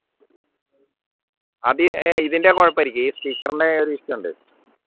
അത് ഏർ ഇതിൻറെ കുഴപ്പം ആയിരിക്കും ഈ speaker ന്റെ ഒരു issue ഉണ്ട്